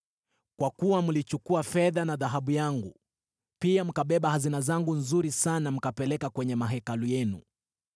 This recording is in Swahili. Kwa kuwa mlichukua fedha na dhahabu yangu pia mkabeba hazina zangu nzuri sana mkapeleka kwenye mahekalu yenu.